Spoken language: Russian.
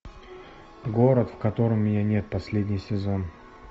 город в котором меня нет последний сезон